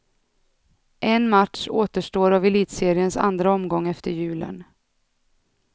En match återstår av elitseriens andra omgång efter julen.